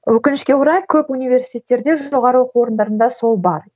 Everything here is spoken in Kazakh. өкінішке орай көп университеттерде жоғары оқу орындарында сол бар